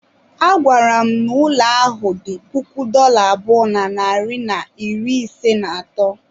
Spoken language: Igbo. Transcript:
A gwara m ụlọ ahụ dị puku dollar abụọ na narị na iri ise na atọ.